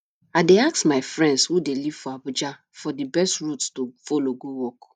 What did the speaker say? i dey ask my friends who dey live for abuja for di best route to folow go work